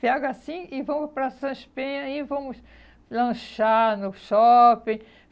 Pega assim e vamos para São Espenha e aí vamos lanchar no shopping.